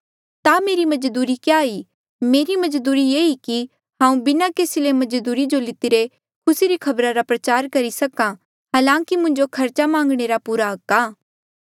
ता मेरी मजदूरी क्या ई मेरी मजदूरी ये ई कि हांऊँ बिना केसी ले मजदूरी जो लितिरे खुसी री खबरा रा प्रचार करी सक्हा हालांकि मुंजो खर्चा मांगणे रा पूरा हक आ